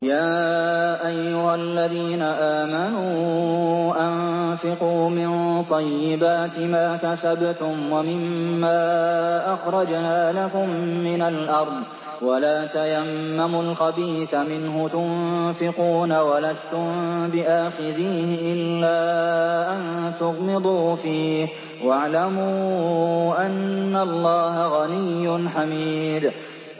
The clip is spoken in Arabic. يَا أَيُّهَا الَّذِينَ آمَنُوا أَنفِقُوا مِن طَيِّبَاتِ مَا كَسَبْتُمْ وَمِمَّا أَخْرَجْنَا لَكُم مِّنَ الْأَرْضِ ۖ وَلَا تَيَمَّمُوا الْخَبِيثَ مِنْهُ تُنفِقُونَ وَلَسْتُم بِآخِذِيهِ إِلَّا أَن تُغْمِضُوا فِيهِ ۚ وَاعْلَمُوا أَنَّ اللَّهَ غَنِيٌّ حَمِيدٌ